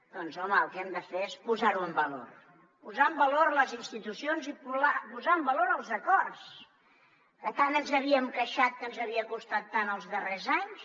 doncs home el que hem de fer és posar ho en valor posar en valor les institucions i posar en valor els acords que tant ens havíem queixat que ens havia costat tant els darrers anys